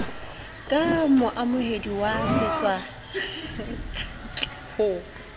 ka moamohedi wa setswakantle ho